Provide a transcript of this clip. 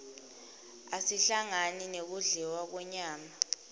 asihlangani nekudliwa kwenyama